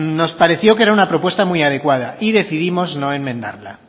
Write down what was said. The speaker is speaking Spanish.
nos pareció que era una propuesta muy adecuada y decidimos no enmendarla